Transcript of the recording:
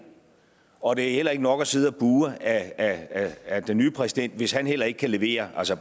og det er heller ikke nok at sidde og buhe ad den nye præsident hvis han heller ikke kan levere altså